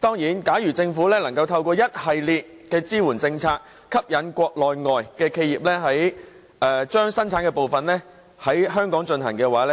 當然，如政府可以透過一系列支援政策，以吸引國內外企業把部分生產程序搬往香港進行的話，